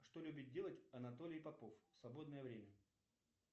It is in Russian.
что любит делать анатолий попов в свободное время